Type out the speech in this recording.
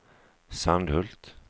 Sandhult